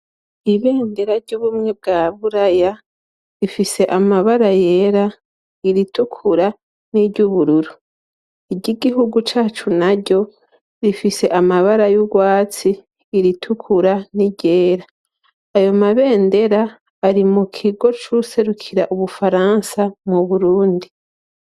Ibendera ry'ubumwe bwa buraya rifise amabara yera ,iritukura n'iry'ubururu. Iry'igihugu cacu naryo rifise amabara y'urwatsi ,iritukura n'iryera .Ayo mabendera ari mu kigo c'uwuserukira ubufaransa mu Burundi.